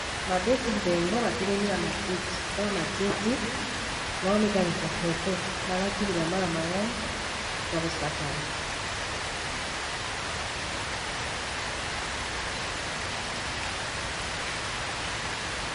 mabeti ndembo batelemi na matiti likola matiti mawa mikanisa foto malati bila mala mango ya kosakama